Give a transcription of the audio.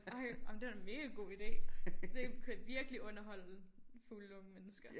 Ej jamen det er da en mega god ide det kunne virkelig underholde fulde unge mennesker